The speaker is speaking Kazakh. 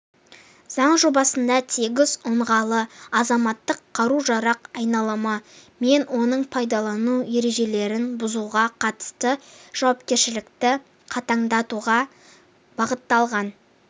заң жобасында тегіс ұңғылы азаматтық қару-жарақ айналымы мен оны пайдалану ережелерін бұзуға қатысты жауапкершілікті қатаңдатуға бағытталған